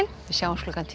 sjáumst klukkan tíu